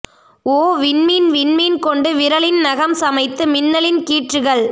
ஓ விண்மீன் விண்மீன் கொண்டு விரலின் நகம் சமைத்து மின்னலின் கீற்றுகள்